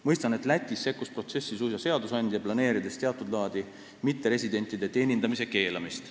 Mõistan, et Lätis sekkus protsessi suisa seadusandja, planeerides teatud laadi mitteresidentide teenindamise keelamist.